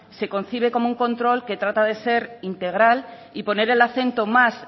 se concibe como un control que trata de ser integral y poner el acento más